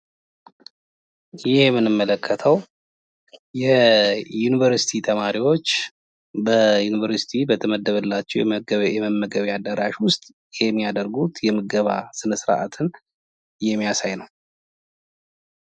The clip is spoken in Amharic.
ይህ የምንመለከተው የዩኒቨርስቲ ተማሪዎች በዩኒቨርስቲ በተመደበላቸው የመመገቢያ አዳራሽ ውስጥ የሚያደርጉት የምገባ ስነስርዓትን የሚያሳይ ነው።